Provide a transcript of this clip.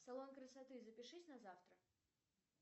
салон красоты запишись на завтра